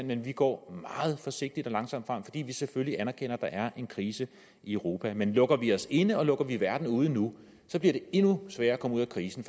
men vi går meget forsigtigt og langsomt frem fordi vi selvfølgelig anerkender at der er en krise i europa men lukker vi os inde og lukker vi verden ude nu bliver det endnu sværere at komme ud af krisen